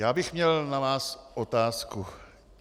Já bych měl na vás otázku.